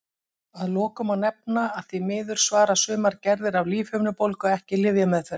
Að lokum má nefna að því miður svara sumar gerðir af lífhimnubólgu ekki lyfjameðferð.